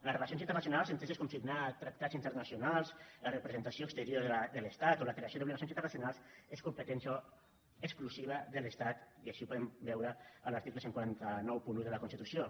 les relacions internacionals enteses com signar tractats internacionals la representació exterior de l’estat o la creació d’obligacions internacionals és competència exclusiva de l’estat i així ho podem veure en l’article catorze noranta u de la constitució